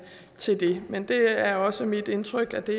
men det er også mit indtryk at det